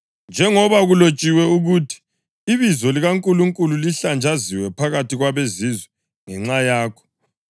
Njengoba kulotshiwe ukuthi, “Ibizo likaNkulunkulu lihlanjaziwe phakathi kwabeZizwe ngenxa yakho.” + 2.24 U-Isaya 52.5; UHezekhiyeli 36.22